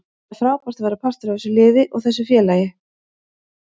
Það er frábært að vera partur af þessu liði og þessu félagi.